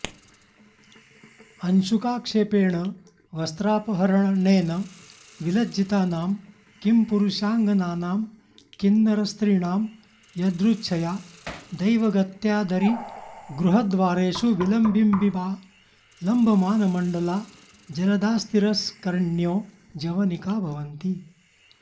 अंशुकाक्षेपेण वस्त्रापहरणेन विलज्जितानां किंपुरुषाङ्गनानां किंनरस्त्रीणां यदृच्छया दैवगत्या दरीगृहद्वारेषु विलम्बिम्बिम्बा लम्बमानमण्डला जलदास्तिरस्करिण्यो जवनिका भवन्ति